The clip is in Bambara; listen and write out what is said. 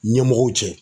Ɲɛmɔgɔw cɛ